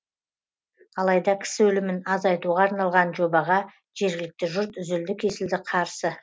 алайда кісі өлімін азайтуға арналған жобаға жергілікті жұрт үзілді кесілді қарсы